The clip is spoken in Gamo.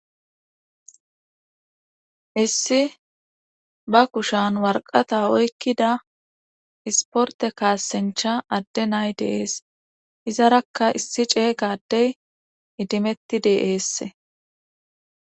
issi ba kushan warqata oykkida isporte kaasincha adde nay de'ees izarakka issi cee gadey idimetti de'esse